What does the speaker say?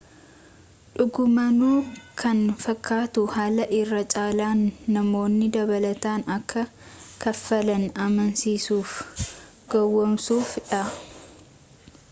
dhugumaanuu kan fakkaatu haala irra caalaan namoonni dabalataan akka kaffalan amansiisuuf gowoomsuu dha